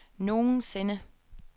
nogensinde